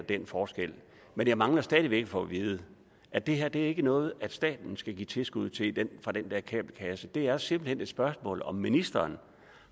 den forskel men jeg mangler stadig væk at få vide at det her ikke er noget som staten skal give tilskud til fra den der kabelkasse det er simpelt hen et spørgsmål om ministeren